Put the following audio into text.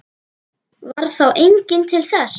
Varð þá enginn til þess.